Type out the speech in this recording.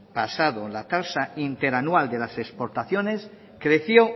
pasado la tasa interanual de las exportaciones creció